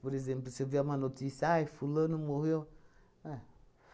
Por exemplo, se eu ver uma notícia, ai, fulano morreu. É